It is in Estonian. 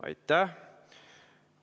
Aitäh!